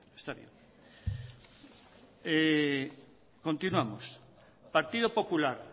está bien continuamos partido popular